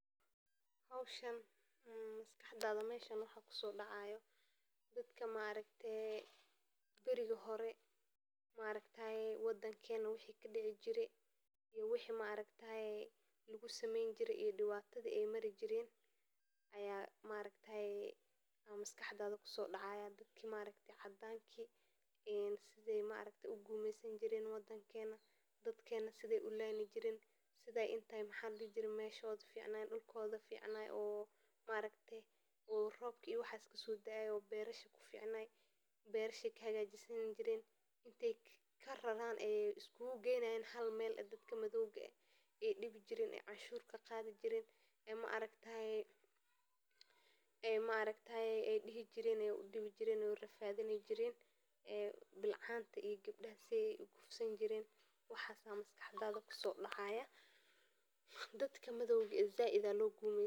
Hawshan maxaa maskaxdaada kusoo dhacaya? Dadka markii hore waddankeena wixii ka dhici jirey iyo wixii lagu samayn jirey iyo dhibaatooyinkii ay mari jireen ayaa maskaxdaada kusoo dhacaya. Dadka cadanka sidii ay u gumaysan jireen waddankeena, dadkeena sidii ay u layn jireen, sida meesha dhulkooda fiican oo roobka kasoo da’aayo oo beeraleyda ku fiican, beerasahooda ka hagaajisan jireen, in ay ka raraan oo isku keenayaan hal meel ah oo ay dhibi jireen, oo ay canshuur ka qaadi jireen, way rafaadin jireen. Bilcanta iyo gabdhaha sidey u kufsan jireen — waxaas ayaa maskaxdaada kusoo dhacaya. Dadka madowga ah, si gaar ah Zayd ayaa loo gumaysan jirey.